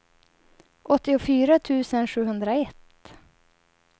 åttiofyra tusen sjuhundraett